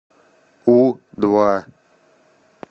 у два